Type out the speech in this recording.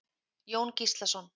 Jón Gíslason.